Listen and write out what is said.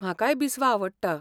म्हाकाय बिस्वा आवडटा.